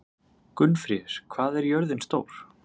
Gunnfríður, hvað er jörðin stór?